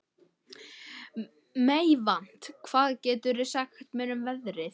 Meyvant, hvað geturðu sagt mér um veðrið?